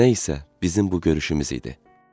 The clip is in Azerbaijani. Nə isə, bizim bu görüşümüz idi.